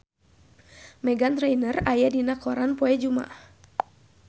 Meghan Trainor aya dina koran poe Jumaah